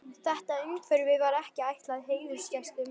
Þetta umhverfi var ekki ætlað heiðursgestum.